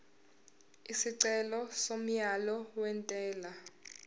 isicelo somyalo wentela